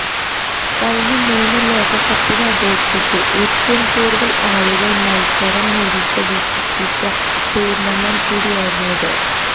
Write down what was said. കഴിഞ്ഞ മൂന്ന് ലോകകപ്പിനെ അപേക്ഷിച്ച് ഏറ്റവും കൂടുതല് ആളുകള് മല്സരം നേരിട്ട് വീക്ഷിച്ച ടൂര്ണമെന്റ് കൂടിയായിരുന്നു ഇത്